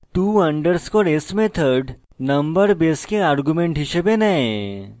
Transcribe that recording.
to _ s method number base argument রূপে নেয়